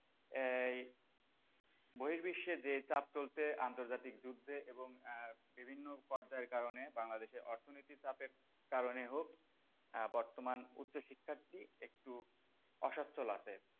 এই বহির বিশ্বের যে চাপ চলছে আন্তর্জাতিক যুদ্ধে এবং আহ বিভিন্ন পর্যায়ের কারণে বাংলাদেশে অর্থনৈতিক চাপের কারণে হোক আহ বর্তমান উচ্চ শিক্ষাটি একটু অসচ্ছল আছে।